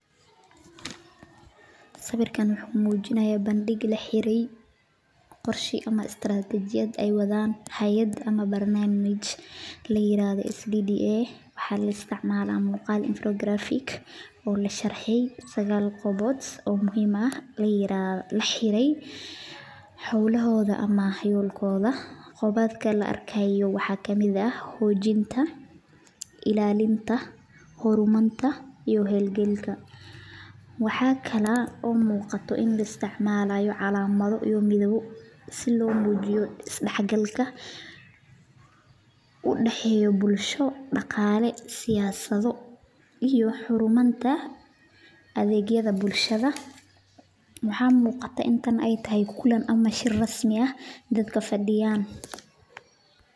Sawiirkaan wuxuu mujinaaya bandig laxire qorsha aay wadaan hayad waxaa la isticmaala muqaal sagaal qolbood oo laxire waxaa kamid ag hagaajinta hor marka iyo heer galinta si loo isticmaalo is dex galka iyo xojinta waxaa muqataa inaay tahay kulan dad fadiyaan.